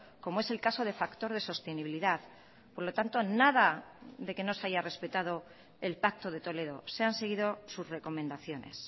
como es el caso de factor de sostenibilidad por lo tanto nada de que no se haya respetado el pacto de toledo se han seguido sus recomendaciones